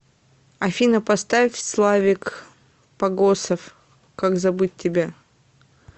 афина поставь славик погосов как забыть тебя